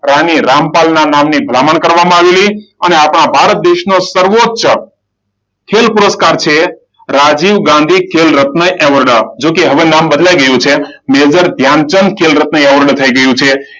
રાણી રામપાલના નામની ભલામણ કરવામાં આવેલી અને આપણા ભારત દેશનો સર્વોચ્ચ ખેલ પુરસ્કાર છે રાજીવ ગાંધી ખેલ રત્ન એવોર્ડ. જો કે હવે નામ બદલાઈ ગયું છે મેજર ધ્યાનચંદ એવોર્ડ થઈ ગયું છે.